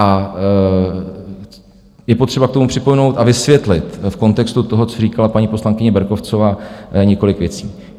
A je potřeba k tomu připomenout a vysvětlit v kontextu toho, co říkala paní poslankyně Berkovcová, několik věcí.